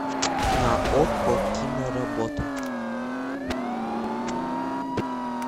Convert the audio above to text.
на окко киноработа